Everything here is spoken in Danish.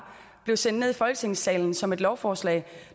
blev sendt ned i folketingssalen som et lovforslag